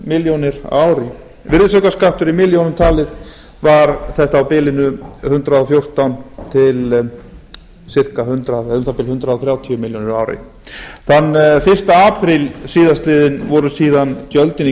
á ári virðisaukaskattur í milljónum talið var þetta á bilinu hundrað og fjórtán til um það bil hundrað þrjátíu milljónir á ári þann fyrsta apríl síðastliðinn voru síðan gjöldin í